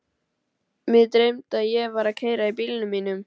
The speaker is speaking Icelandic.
Mig dreymdi að ég var að keyra í bílnum mínum.